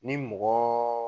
Ni mɔgɔɔ